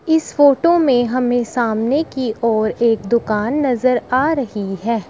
इस फोटो में हमें सामने की ओर एक दुकान नजर आ रही है।